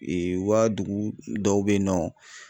Ee wa dugu dɔw be yen nɔ.